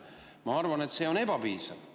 Ma arvan, et see on ebapiisav.